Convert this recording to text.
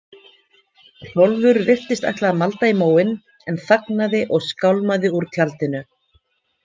Hrólfur virtist ætla að malda í móinn en þagnaði og skálmaði úr tjaldinu.